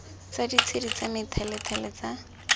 tsa ditshedi tsa methalethale tsa